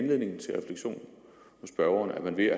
gøre